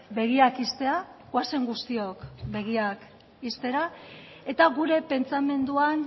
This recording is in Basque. begiak ixtea goazen guztiok begiak ixtera eta gure pentsamenduan